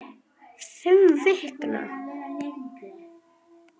Fimm vikna